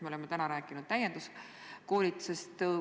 Me oleme täna rääkinud täienduskoolitusest.